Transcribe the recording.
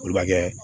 Olu bɛ kɛ